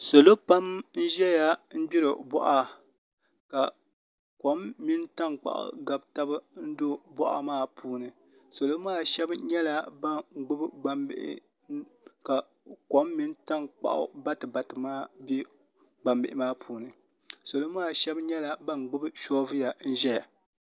Salo pam n ʒɛya n gbiri boɣa ka kom mini tankpaɣu gabi tabi n do boɣa maa puuni salo maa shab nyɛla ban gbubi gbanbihi ka kom mini tankpaɣu batibati maa bɛ gbambihi maa puuni salo maa shab nyɛla ban gbubi soobuya n ʒɛya